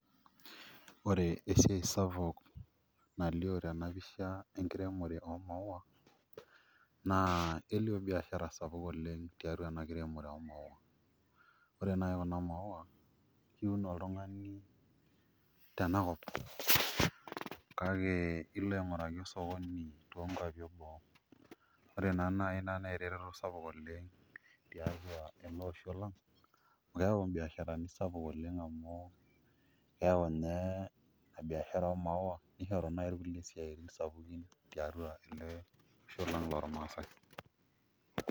Oore esiai sapuk nalio teena pisha enkiremore omaua, naa kelio biashara sapuk oleng tiatua eena kiremore omaua. oore naaji kuuna maua, iun oltung'ani teena kop kake iilo aing'uraki osokoni too kwapi ee boo. Oore naa naaji iina naa eretoto sapuk oleng tiatua eele osho lang, amuu keyau imbiasharani kunok oleng amuu keyau ninye embiashara oo imaua, neishoru naaji irkulie siaitin sapuki tiatua eele osho lang lormaasae.